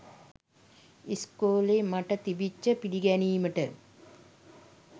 ඉස්කෝලෙ මට තිබිච්ච පිළිගැනීමට.